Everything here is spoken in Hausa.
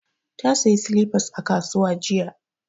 Ta saya silifas a kasuwa jiya